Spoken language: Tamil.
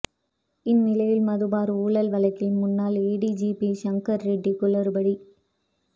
இந்நிலையில் மது பார் ஊழல் வழக்கில் முன்னாள் ஏடிஜிபி சங்கர்ரெட்டி குளறுபடி